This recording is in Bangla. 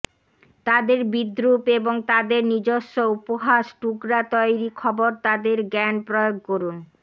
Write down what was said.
তাদের বিদ্রুপ এবং তাদের নিজস্ব উপহাস টুকরা তৈরি খবর তাদের জ্ঞান প্রয়োগ করুন